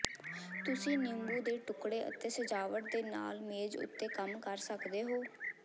ਤੁਸੀਂ ਨਿੰਬੂ ਦੇ ਟੁਕੜੇ ਅਤੇ ਸਜਾਵਟ ਦੇ ਨਾਲ ਮੇਜ਼ ਉੱਤੇ ਕੰਮ ਕਰ ਸਕਦੇ ਹੋ